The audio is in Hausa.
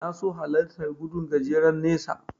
Na so hallartan gudun gajeren nesa.